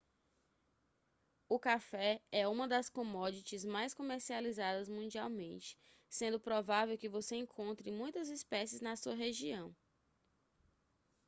o café é uma das commodities mais comercializadas mundialmente sendo provável que você encontre muitas espécies na sua região